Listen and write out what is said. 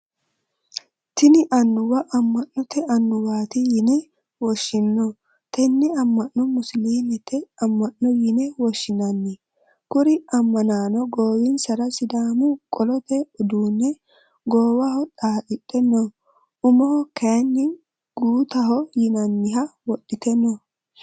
Tinni anuwa ama'note awuwaati yinne woshinno. Tenne ama'no musiliimete ama'no yinne woshinnanni. Kuri amannaano goowinsara sidaamu qolote uduune goowaho xaadhe no. Umoho kayinni guttaho yinnanniha wodhite no.